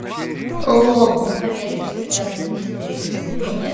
лол он поверит что я две тысячи третьего или нет